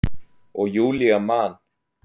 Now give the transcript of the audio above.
Og Júlía man.